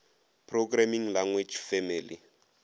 programming language family